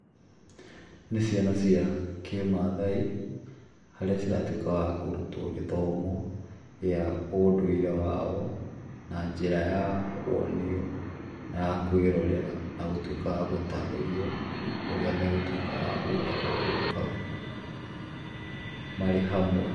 Nĩ ciana cia kĩ-maathai, harĩa ciratuĩka wa kũrutwo gĩthomo gĩa ũndũire wao, na njĩra ya kũonio na ya kwĩrorera na gũtuĩka wa gũtarĩrio ũrĩa megũtuĩka wa gwĩka kaũndũ kau, marĩ hamwe.